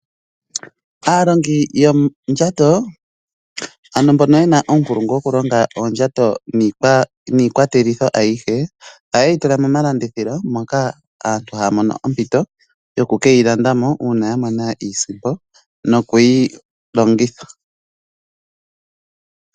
Aalongi yoondjato ano mbono ye na uunkulungu wokulonga oondjato niikwatelwa ayihe ohaye yi tula momalandithilo moka aantu haya mono ompito yoku ke yi landa mo uuna ya mona iisimpo nokuyi longitha.